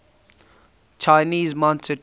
chinese mounted troops